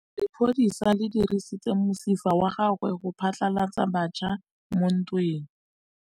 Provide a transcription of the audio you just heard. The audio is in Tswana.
Lepodisa le dirisitse mosifa wa gagwe go phatlalatsa batšha mo ntweng.